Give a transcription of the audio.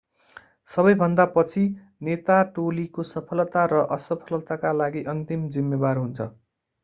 सबैभन्दा पछि नेता टोलीको सफलता र असफलताका लागि अन्तिम जिम्मेवार हुन्छ